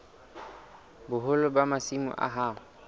boholo ba masimo a hao